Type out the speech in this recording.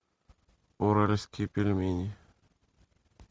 уральские пельмени